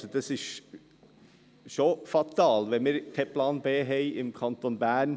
Es ist schon fatal, wenn wir im Kanton Bern keinen Plan B haben.